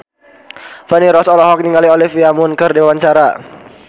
Feni Rose olohok ningali Olivia Munn keur diwawancara